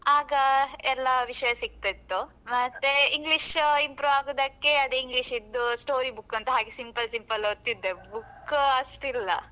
ಆಗ ಎಲ್ಲಾ ವಿಷಯ ಸಿಗ್ತಿತ್ತು. ಮತ್ತೆ English improve ಆಗುದಕ್ಕೆ ಅದೇ English ದ್ದು story book ಅಂತ ಹಾಗೆ simple simple ಓದ್ತಿದ್ದೆ book ಅಷ್ಟಿಲ್ಲ.